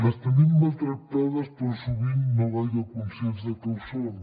les tenim maltractades però sovint no gaire conscients de que ho són